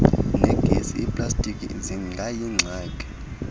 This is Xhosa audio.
negesi iiplastiki zingayingxaki